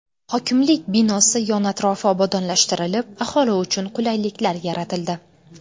Hokimlik binosi yon-atrofi obodonlashtirilib, aholi uchun qulayliklar yaratildi.